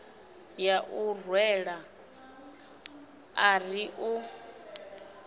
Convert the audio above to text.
ya u rwela ari u